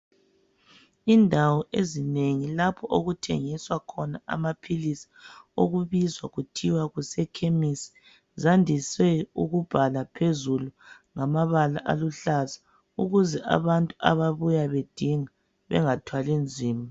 Indawo ezinengi lapho okuthengiswa khona amaphilisi okubizwa kuthiwa kusekhemisi zandise ukubhala phezulu ngamabala aluhlaza ukuze abantu ababuyayo bedinga bengathwali nzima.